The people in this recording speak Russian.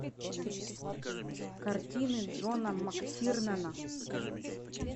картины джона мактирнана